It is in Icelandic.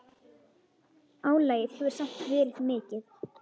Álagið hefur samt verið mikið.